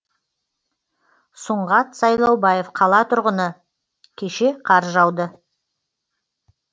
сұңғат сайлаубаев қала тұрғыны кеше қар жауды